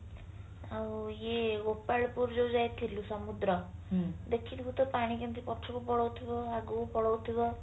ଆଉ ଇଏ ଗୋପାଳପୁର ଯୋଉ ଯାଇଥିଲୁ ସମୁଦ୍ର ଦେଖିଥିବୁ ତ ପାଣି କେମତି ପଛକୁ ପଳୋଉଥିବ ଆଗକୁ ପଳୋଉଥିବ